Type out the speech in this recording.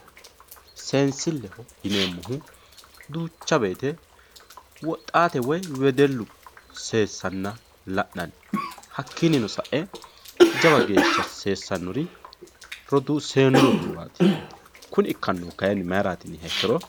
seensilleho yineemmohu duucha woyte woxxaate woy wedellu seessanna la'nanni hakkiinnino sa'e jawa geeshsha roduu seennu roduuwaati kuni ikkannohu mayiraati yiniha ikkiro